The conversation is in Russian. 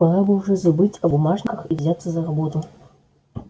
пора бы уже забыть о бумажках и взяться за работу